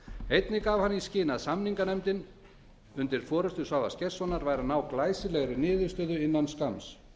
einnig gaf hann í skyn að samninganefndin undir forustu svavars gestssonar næði glæsilegri niðurstöðu innan skamms